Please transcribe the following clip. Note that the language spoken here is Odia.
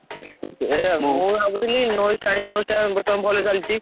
ଏ ମୁଁ ଭାବୁଥିଲି ଟା ଆଣିବି ଟା ବର୍ତମାନ ଭଲ ଚାଲିଛି।